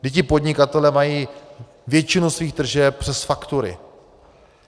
Vždyť ti podnikatelé mají většinu svých tržeb přes faktury.